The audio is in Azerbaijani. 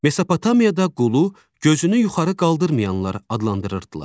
Mesopotamiyada qulu gözünü yuxarı qaldırmayanlar adlandırırdılar.